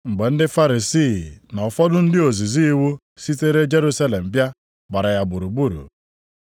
Mgbe ndị Farisii na ụfọdụ ndị ozizi iwu sitere Jerusalem bịa gbara ya gburugburu,